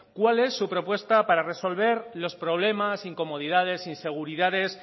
cuál es su propuesta para resolver los problemas incomodidades inseguridades